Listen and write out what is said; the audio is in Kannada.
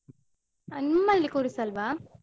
ಆ ನಿಮ್ಮಲ್ಲಿ ಕೂರಿಸಲ್ವಾ?